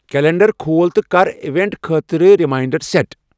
Calendar کھۄل تہٕ کر ایوینٹ خٲطرٕ ریمانڈر سیٹ ۔